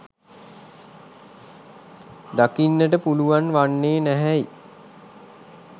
දකින්නට පුළුවන් වන්නේ නැහැ යි